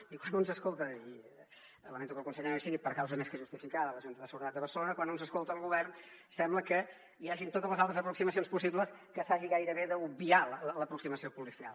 i quan un s’escolta i lamento que el conseller no hi sigui per causa més que justificada la junta de seguretat de barcelona el govern sembla que hi hagin totes les altres aproximacions possibles que s’hagi gairebé d’obviar l’aproximació policial